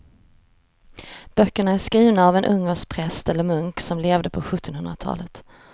Böckerna är skrivna av en ungersk präst eller munk som levde på sjuttonhundratalet.